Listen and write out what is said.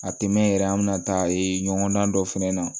A tɛ mɛn yɛrɛ an bɛna taa ɲɔgɔn dan dɔ fɛnɛ na